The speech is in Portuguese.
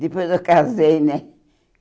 Depois eu casei, né?